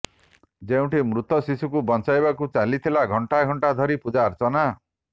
ଯେଉଁଠି ମୃତ ଶିଶୁକୁ ବଞ୍ଚାଇବାକୁ ଚାଲିଥିଲା ଘଣ୍ଟା ଘଣ୍ଟା ଧରି ପୂଜାର୍ଚ୍ଚନା